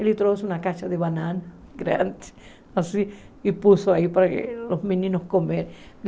Ele trouxe uma caixa de banana grande, assim, e pôs aí para os meninos comerem.